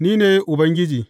Ni ne Ubangiji.’